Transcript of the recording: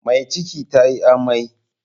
Mai ciki tayi amai.